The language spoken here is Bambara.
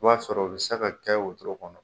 I b'a sɔrɔ u bɛ se ka kɛ wwotoro kɔnɔ.